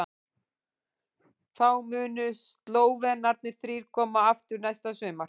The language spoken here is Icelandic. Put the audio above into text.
Þá munu Slóvenarnir þrír koma aftur næsta sumar.